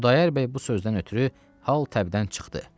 Xudayar bəy bu sözdən ötrü hal təbdən çıxdı.